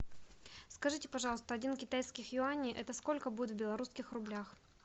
скажите пожалуйста один китайских юаней это сколько будет в белорусских рублях